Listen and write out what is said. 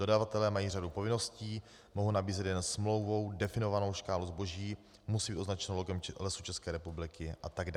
Dodavatelé mají řadu povinností, mohou nabízet jen smlouvou definovanou škálu zboží, musí být označeno logem Lesů České republiky atd.